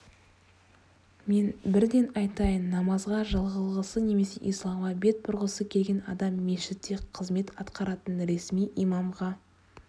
мен бірден айтайын намазға жығылғысы немесе исламға бет бұрғысы келген адам мешітте қызмет атқаратын ресми имамға